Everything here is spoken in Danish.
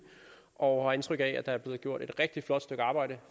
og fik indtryk af at der er blevet gjort et rigtig flot stykke arbejde